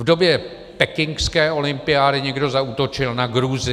V době pekingské olympiády někdo zaútočil na Gruzii.